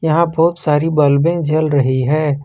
यहां बहुत सारी बल्बें जल रही है।